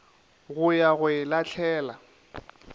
go ya go e lahlela